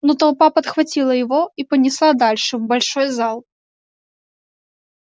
но толпа подхватила его и понесла дальше в большой зал